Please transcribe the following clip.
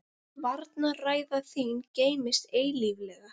Varnarræða þín geymist eilíflega.